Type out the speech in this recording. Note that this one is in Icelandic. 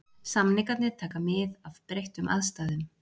Samningarnir taka mið af breyttum aðstæðum.